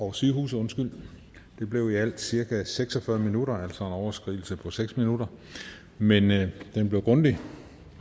og sygehuse det blev i alt cirka seks og fyrre minutter altså en overskridelse på seks minutter men det blev grundigt